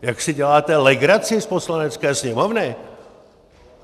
Jak si děláte legraci z Poslanecké sněmovny?